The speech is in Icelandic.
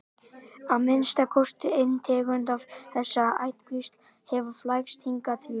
að minnsta kosti ein tegund af þessari ættkvísl hefur flækst hingað til lands